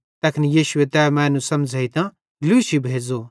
तैखन यीशुए तै मैनू समझ़ेइतां लूशी भेज़ो